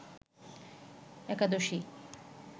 একাদশী